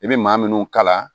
I bɛ maa minnu kala